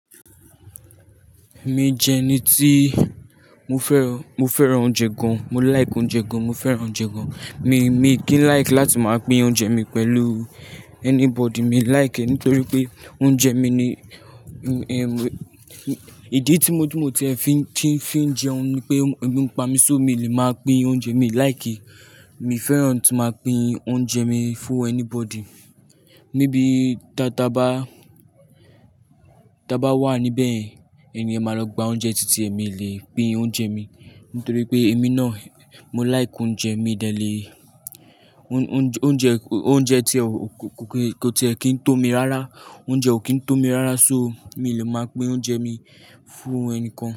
Mi jẹ ẹni tí mo fẹ́ran, mo fẹ́ran oúnjẹ gan, mo like oúnjẹ gan, mo fẹ́ran oúnjẹ gan. Mi, mi kìí like láti máa pín oúnjẹ mi pẹ̀lú anybody. Mi like nítorí pé oúnjẹ mi ni, ìdí tí mo dúró tí ẹ fi ń, tí ń fi jẹun ni pé bí mo pa mí só mi lè máa pín oúnjẹ mi. Like mi fẹ́ran tí máa pín oúnjẹ mi for anybody. Níbi tá, tá bá, tá bá wà níbẹ̀ ẹni ẹ máa lọ gba oúnjẹ títí èmi lè pín oúnjẹ mi. Nítorí pé èmi náà mo like oúnjẹ mi dẹ́lẹ̀. Oúnjẹ, oúnjẹ, oúnjẹ tí ọ̀, kò tí ẹ kì í tó mi rárá. Oúnjẹ ò kí ń tó mi rárá so mi lè máa pín oúnjẹ mi fún ẹnìkan.